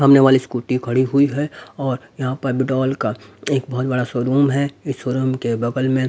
सामने वाली स्कूटी खड़ी हुई है और यहाँ पर बिडोल का एक बहुत बड़ा शोरूम है इस शोरूम के बगल में--